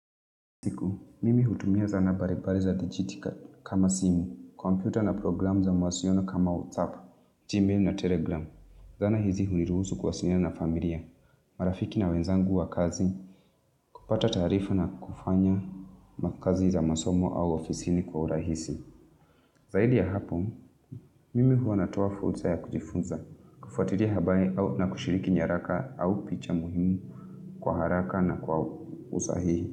Mimi hutumia zana baribari za digitikat kama simu, komputa na programu za mawasiona kama WhatsApp, Gmail na Telegram. Zana hizi huniruzu kwasiliana na familia, marafiki na wenzangu wa kazi, kupata tarifa na kufanya makazi za masomo au ofisini kwa urahisi. Zahidi ya hapo, mimi hua natoa furza ya kujifunza, kufuatiria habari au na kushiriki nyaraka au picha muhimu kwa haraka na kwa usahihi.